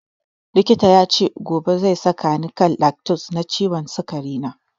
Likitan yace gobe zai saka ni kan lantus wa ciwon sikari na